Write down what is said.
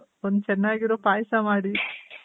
ಒಂದ್ ಚನ್ನಾಗಿರೋ ಪಾಯ್ಸ ಮಾಡಿ.